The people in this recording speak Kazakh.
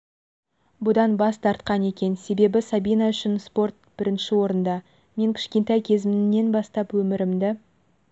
бұдан бас тартқан екен себебі сабина үшін спорт бірінші орында мен кішкентай кезімнен бастап өмірімді